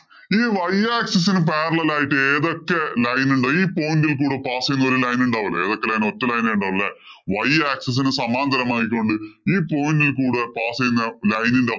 ഈ y axis ഇന് parallel ആയിട്ട് ഏതൊക്കെ line ഇണ്ട് ഈ point ഇല്‍ കൂടെ pass ചെയ്യുന്ന ഒരു line ഉണ്ടാവില്ലേ ഏതൊക്കെ line അ ഒറ്റ line എ ഒള്ളുല്ലേ y axis ന് സമാന്തരം ആയിക്കോണ്ട് ഈ point ഇല്‍ കൂടെ pass ചെയ്യുന്ന line ഇന്‍റെ